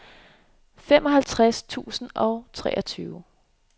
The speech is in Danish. femoghalvtreds tusind og treogtyve